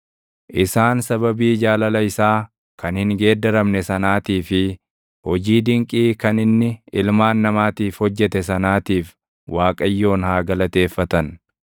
Isaan sababii jaalala isaa kan hin geeddaramne sanaatii fi hojii dinqii kan inni ilmaan namaatiif hojjete sanaatiif // Waaqayyoon haa galateeffatan;